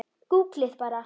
Gúgglið bara.